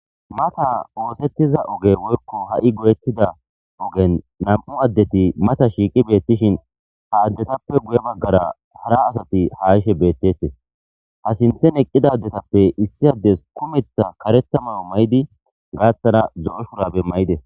Maata ossetiza ogge woykko hai goyettida oggen nam'u addeti mata shiqqi betishin ha addetape guye baggara hara asati ha yishshe bettetes ha sinththen eqqida addetappe issi addezi kumeththa kareththa maayo mayidi gaththara zo'o shurabbe mayides.